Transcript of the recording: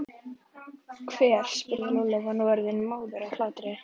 Hver? spurði Lúlli og var orðinn móður af hlátri.